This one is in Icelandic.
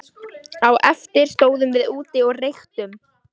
Á eftir stóðum við úti og reyktum.